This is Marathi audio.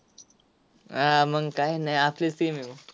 हा, मंग काय नाय. आपलीच team आहे मग.